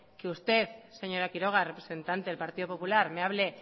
que usted señora quiroga representante del partido popular me hable